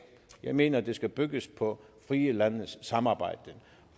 jeg mener at det skal bygge på frie landes samarbejde